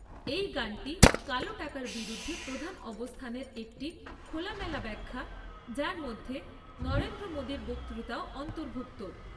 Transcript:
এই গানটি কালো টাকার বিরুদ্ধে প্রধান অবস্থানের একটি খোলামেলা ব্যাখ্যা যার মধ্যে নরেন্দ্র মোদির বক্তৃতাও অন্তর্ভুক্ত।